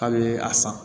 K'a bɛ a san